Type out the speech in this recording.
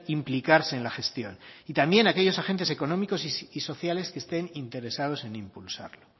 implicarse en la gestión y también aquellos agentes económicos y sociales que estén interesados en impulsarlo